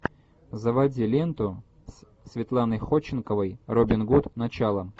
заводи ленту с светланой ходченковой робин гуд начало